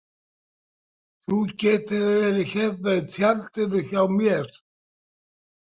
Þú getur verið hérna í tjaldinu hjá mér